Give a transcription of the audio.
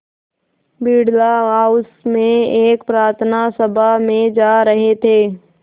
Birla house में एक प्रार्थना सभा में जा रहे थे